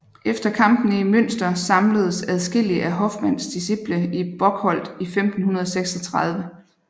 Efter kampene i Münster samledes adskillige af Hoffmanns disciple i Bocholt i 1536